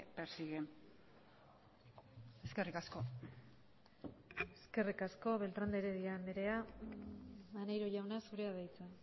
persiguen eskerrik asko eskerrik asko beltrán de heredia anderea maneiro jauna zurea da hitza